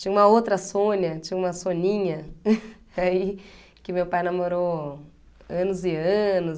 Tinha uma outra Sônia, tinha uma Soninha, que ai, que meu pai namorou anos e anos.